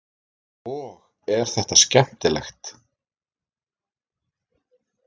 Og er þetta skemmtilegt?